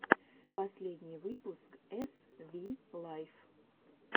последний выпуск эс ви лайф